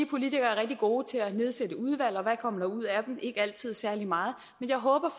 politikere er rigtig gode til at nedsætte udvalg og hvad kommer der ud af dem ikke altid særlig meget men jeg håber